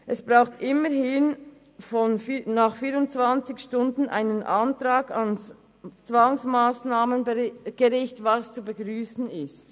Es braucht immerhin nach 24 Stunden einen Antrag ans Zwangsmassnahmengericht, was zu begrüssen ist.